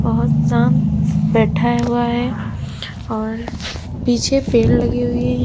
बहोत शांत बैठा हुआ है और पीछे पेड़ लगें हुए हैं।